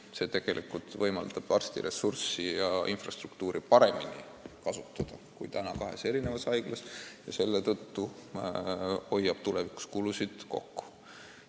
See võimaldab arstide ressurssi ja infrastruktuuri paremini kasutada kui kahes eri haiglas ja nii tulevikus ka kulusid kokku hoida.